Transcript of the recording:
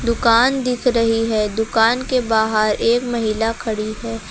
दुकान दिख रही है दुकान के बाहर एक महिला खड़ी है।